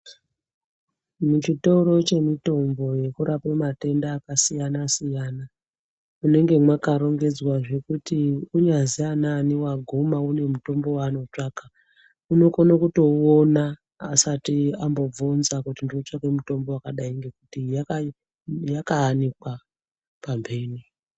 Muchitoro chemutombo yekurape matenda akasiyana siyana munenge makarongedzwa zvekuti unyasi anani waguma une mutombo waanotsvaka unokone kutouona asati ambobvunza kuti ndiri kutsvaka mutombo wakadai nekuti yaka yakaanikwa pambene.